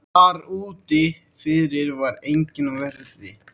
Þar úti fyrir var enginn á verði.